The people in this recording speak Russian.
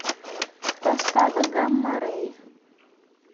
поставь гамма рэй